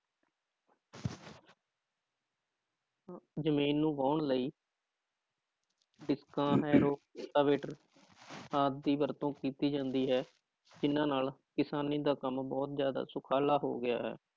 ਜ਼ਮੀਨ ਨੂੰ ਵਾਹੁਣ ਲਈ ਰੂਟਾਵੇਟਰ ਆਦਿ ਦੀ ਵਰਤੋਂ ਕੀਤੀ ਜਾਂਦੀ ਹੈ ਜਿੰਨਾਂ ਨਾਲ ਕਿਸਾਨੀ ਦਾ ਕੰਮ ਬਹੁਤ ਜ਼ਿਆਦਾ ਸੁਖਾਲਾ ਹੋ ਗਿਆ ਹੈ